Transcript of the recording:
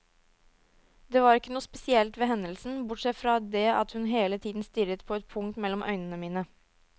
Det var ikke noe spesielt ved hendelsen, bortsett fra det at hun hele tiden stirret på et punkt mellom øynene mine.